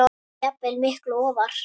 jafnvel miklu ofar.